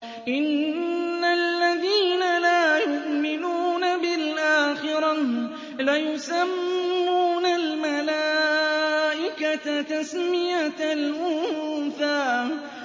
إِنَّ الَّذِينَ لَا يُؤْمِنُونَ بِالْآخِرَةِ لَيُسَمُّونَ الْمَلَائِكَةَ تَسْمِيَةَ الْأُنثَىٰ